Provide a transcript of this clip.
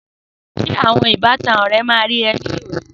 Sé àwọn ìbátan ré máa wá rí ọ ní òní?